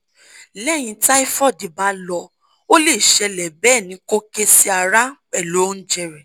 lehin tyhoid ba lo o le sele be ni ko kesi ara pelu ounje re